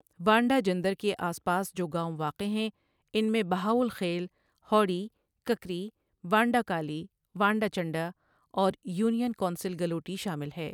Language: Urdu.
وانڈہ جندر کے آس پاس جو گاؤوں واقع ہیں، ان میں بہاؤل خیل، هوڑی، ککری، وانڈہ کالی، وانڈہ چنڈہ اور یونین کونسل گلوٹی شا مل ہے۔